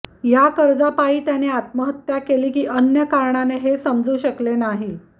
या कर्जापायी त्याने आत्महत्या केली की अन्य कारणाने हे समजू शकले नाही